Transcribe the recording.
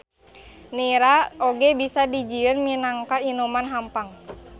Nira oge bisa dijieun minangka inuman hampang.